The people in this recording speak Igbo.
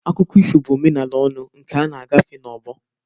Akụkọ ifo bụ omenala ọnụ, nke a na-agafe n'ọgbọ.